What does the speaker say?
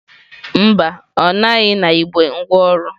Mba, ọ nọghị na igbe ngwaọrụ.